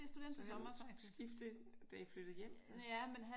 Så han skiftede da I flyttede hjem så?